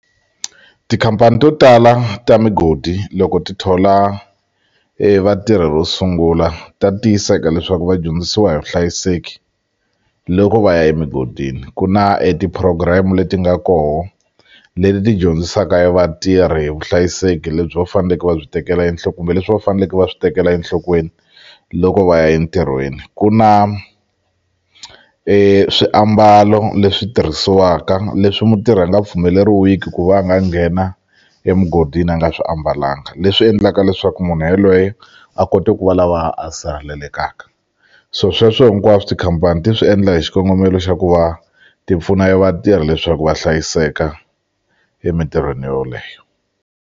Tikhampani to tala ta migodi loko ti thola vatirhi ro sungula ta tiyiseka leswaku va dyondzisiwa hi vuhlayiseki loko va ya emugodini ku na e ti-program leti nga koho leti ti dyondzisaka e vatirhi vuhlayiseki lebyi va faneleke va byi tekela kumbe leswi va faneleke va swi tekela enhlokweni loko va ya entirhweni ku na swiambalo leswi tirhisiwaka leswi mutirhi a nga pfumeleriwiki ku va a nga nghena emugodini a nga swi ambalangi leswi endlaka leswaku munhu yalweye a kote ku va lava a sihaleleka so sweswo hinkwaswo tikhampani ti swi endla hi xikongomelo xa ku va tipfuna ya e vatirhi leswaku va hlayiseka emintirhweni yoleyo.